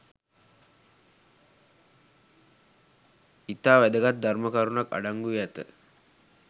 ඉතා වැදගත් ධර්ම කරුණක් අඩංගු වී ඇත